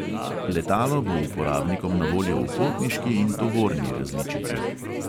Letalo bo uporabnikom na voljo v potniški in tovorni različici.